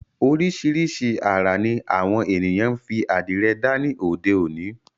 Oríṣìíríṣìí àrà ní àwọn ènìyàn ń fi àdìrẹ dá ní òde òni.